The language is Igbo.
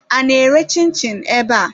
A na-ere chin-chin ebe a?